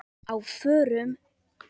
Á FÖRUM?